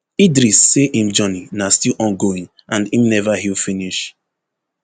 idris say im journey na still ongoing and im never heal finish